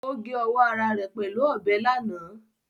Ó gé ọwọ́ ara rẹ̀ pẹ̀lú ọbẹ̀ lánàá